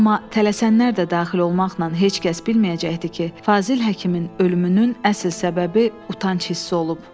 Amma tələsənlər də daxil olmaqla heç kəs bilməyəcəkdi ki, Fazil həkimin ölümünün əsl səbəbi utanc hissi olub.